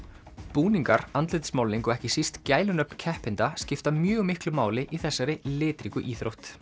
búningar andlitsmálning og ekki síst gælunöfn keppenda skipta mjög miklu máli í þessari litríku íþrótt